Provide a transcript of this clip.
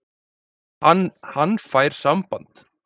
Hann fær samband.